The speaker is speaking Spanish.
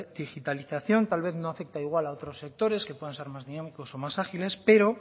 digitalización tal vez no afecta igual a otros sectores que puedan ser más dinámicos o más ágiles pero